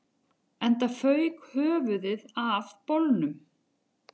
Enda fauk höfuðið af bolnum